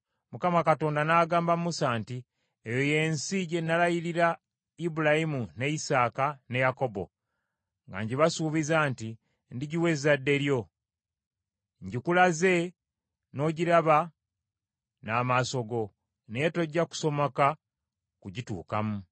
Mukama Katonda n’agamba Musa nti, “Eyo y’ensi gye nalayirira Ibulayimu, ne Isaaka, ne Yakobo, nga ngibasuubiza nti, ‘Ndigiwa ezzadde lyo.’ Ngikulaze n’ogiraba n’amaaso go, naye tojja kusomoka kugituukamu.”